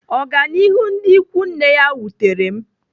Ọganihu ndị ikwu nne ya wutere m.